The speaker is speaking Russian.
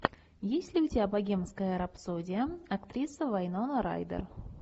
есть ли у тебя богемская рапсодия актриса вайнона райдер